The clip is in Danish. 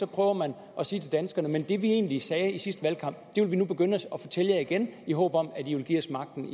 prøver man at sige til danskerne det vi egentlig sagde i sidste valgkamp vil vi nu begynde at fortælle jer igen i håb om at i vil give os magten